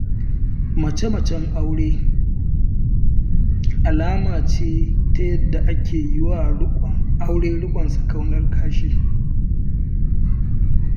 Mace-macen aure, Mace-macen aure alama ce ta yadda ake yiwa aure riƙon sakainar kashi.